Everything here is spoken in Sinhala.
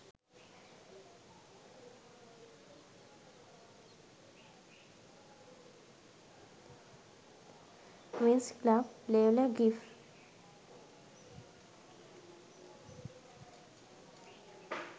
winx club layla gif